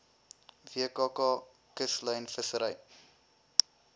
wkk kuslyn vissery